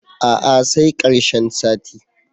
A'a sai ƙarshen sati.